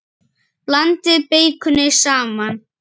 Blandið beikoni saman.